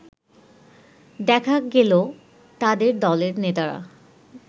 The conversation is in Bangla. দেখা গেল তাদের দলের নেতারা